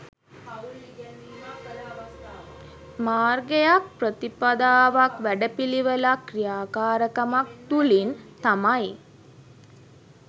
මාර්ගයක් ප්‍රතිපදාවක් වැඩපිළිවෙලක් ක්‍රියාකාරකමක් තුළින් තමයි